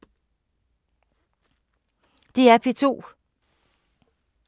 DR P2